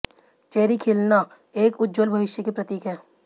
cherry खिलना एक उज्ज्वल भविष्य के प्रतीक हैं